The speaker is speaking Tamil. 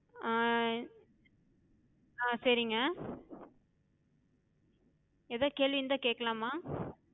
ஹம் ஹம் சரிங்க. எதா கேள்வி இருந்தா கேக்கலாமா?